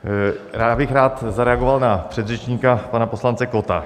Já bych rád zareagoval na předřečníka, pana poslance Kotta.